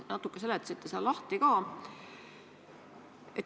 Te natuke seletasite seda ka lahti.